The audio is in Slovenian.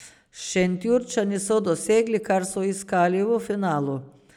Šentjurčani so dosegli, kar so iskali v finalu.